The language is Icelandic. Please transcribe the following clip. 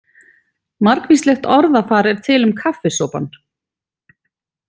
Margvíslegt orðafar er til um kaffisopann.